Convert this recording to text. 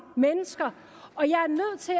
mennesker